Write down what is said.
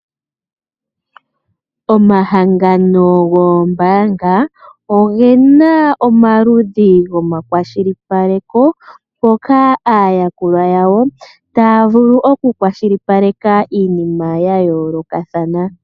Omahangano goombanga oge na omaludhi gomakwashilipaleko hoka aayakulwa yawo taya vulu okukwashilipaleka iinima ya yoolokathana.